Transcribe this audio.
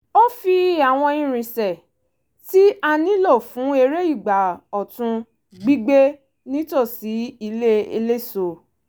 ó fi àwọn irinṣẹ́ tí a nílò fún eré ìgbà ọ̀tun gbígbẹ́ nítòsí ilẹ̀ eléso